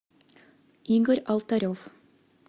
игорь алтарев